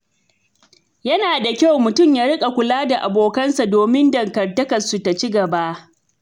Yana da kyau mutum ya riƙa kula da abokansa domin dangantakarsu ta ci gaba.